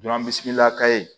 bi sigila ka ye